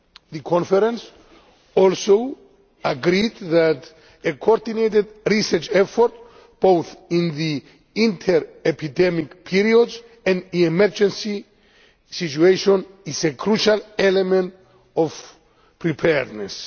The conference also agreed that a coordinated research effort both in the inter-epidemic periods and in emergency situations is a crucial element of preparedness.